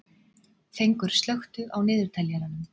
Fengur, slökktu á niðurteljaranum.